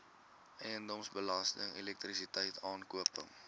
eiendomsbelasting elektrisiteit aankope